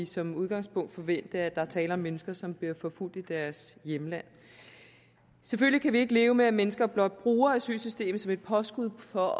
som udgangspunkt forvente at der er tale om mennesker som bliver forfulgt i deres hjemland selvfølgelig kan vi ikke leve med at mennesker blot bruger asylsystemet som et påskud for at